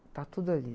Está tudo ali.